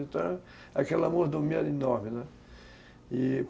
Então, aquela mordomia era enorme, né? e